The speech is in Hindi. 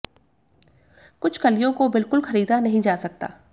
कुछ कलियों को बिल्कुल खरीदा नहीं जा सकता है